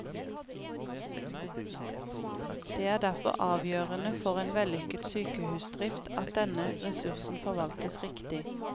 Det er derfor avgjørende for en vellykket sykehusdrift at denne ressursen forvaltes riktig.